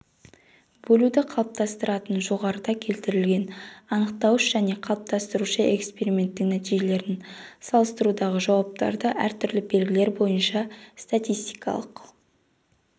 бөлуді қалыптастыратын жоғарыда келтірілген анықтауыш және қалыптастырушы эксперименттің нәтижелерін салыстырудағы жауаптарды әртүрлі белгілер бойынша статистикалық